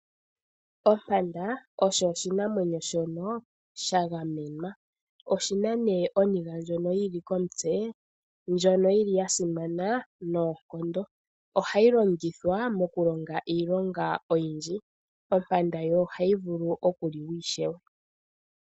Ompanda osho oshinamwenyo shono sha gamenwa. Oshi na nee oniga ndjono yili komutse, ndjono yili ya simana noonkondo. Ohayi longithwa mokulonga iilonga oyindji. Ompanda yo ohayi vulu okuliwa ishewe.